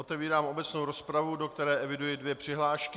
Otevírám obecnou rozpravu, do které eviduji dvě přihlášky.